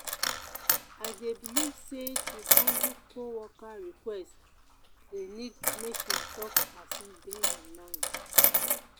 i dey believe say to handle co-worker request dey need make im talk as e dey im mind.